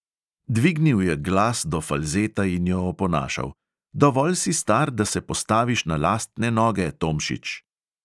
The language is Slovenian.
Dvignil je glas do falzeta in jo oponašal: "dovolj si star, da se postaviš na lastne noge, tomšič."